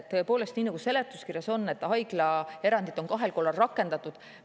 Tõepoolest, seletuskirjas on kirjas, et haiglaerandit on kahel korral rakendatud.